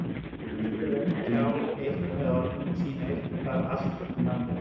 Hægt er að tjá eitt með orðum en sýna eitthvað allt annað með fasi.